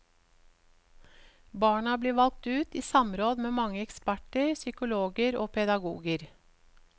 Barna blir valgt ut i samråd med mange eksperter, psykologer og pedagoger.